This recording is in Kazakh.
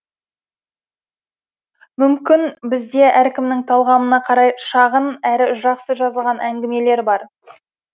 мүмкін бізде әркімнің талғамына қарай шағын әрі жақсы жазылған әңгімелер бар